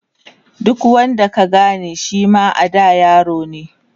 duk wanda ka Gane Shima a da yarone